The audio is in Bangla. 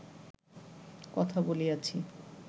কথা বলিয়াছি